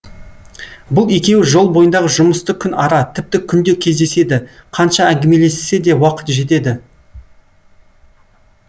бұл екеуі жол бойындағы жұмысты күн ара тіпті күнде кездеседі қанша әңгімелессе де уақыт жетеді